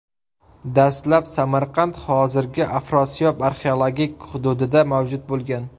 Dastlab Samarqand hozirgi Afrosiyob arxeologik hududida mavjud bo‘lgan.